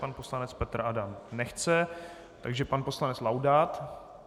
Pan poslanec Petr Adam nechce, takže pan poslanec Laudát.